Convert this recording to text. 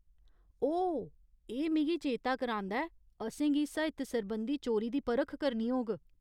ओह ! एह् मिगी चेता करांदा ऐ, असेंगी साहित्य सरबंधी चोरी दी परख करनी होग।